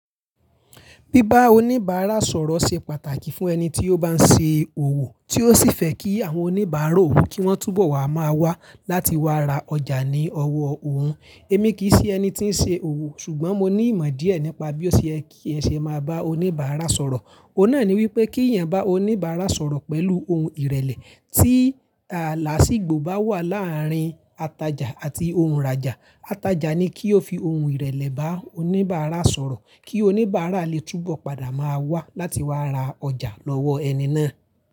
Bíba oníbàárà sọ̀rọ̀ ṣe pàtàkì fún ẹni tí ó bá ń ṣe òwò, tí ó sì fẹ́ kí àwọn oníbàárà òwò kí wọ́n túbọ̀ wà máa wá láti wá ra ọjà ní ọwọ́ òhun. Èmi kì í ṣe ẹni tí ń ṣe òwò ṣùgbọ́n mo ní ìmọ̀ díẹ̀ nípa bí ó ṣe é kí ẹ ṣe máa bá oníbàárà sọ̀rọ̀. Óhun náà ni wípé kí èèyàn bá oníbàárà sọ̀rọ̀ pẹ̀lú ohun ìrẹ̀lẹ̀, tí à laàsígbo bá wà láàárín atajà àti ohunràjà, atajà ni kí ó fi ohun ìrẹ̀lẹ̀ bá oníbàárà sọ̀rọ̀ kí oníbàárà lè túbọ̀ padà máa wá láti wá ra ọjà lọ́wọ́ ẹni náà.